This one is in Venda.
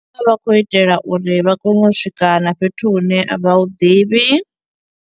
Vha vha khou itela uri vha kone u swika na fhethu hune vha hu ḓivhi.